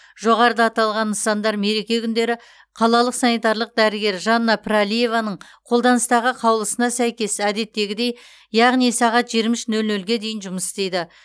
жоғарыда аталған нысандар мереке күндері қалалық санитарлық дәрігер жанна пірәлиеваның қолданыстағы қаулысына сәйкес әдеттегідей яғни сағат жиырма үш нөл нөлге дейін жұмыс істейді